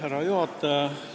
Härra juhataja!